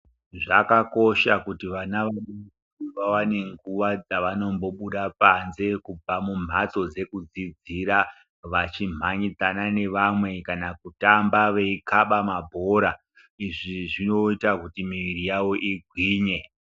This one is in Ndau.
Zvakanaka kuti vana vaone nguwa dzavanombobuda panze kubva kumbatso dzokudzidzira vachimhanyidzana nevamwe kana kutamba veikaba mabhora izvi zvinoita miri yawo igwinye.